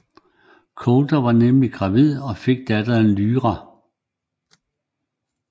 Coulter bliver nemlig gravid og får datteren Lyra